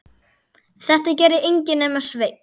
Þetta gerði enginn nema Sveinn.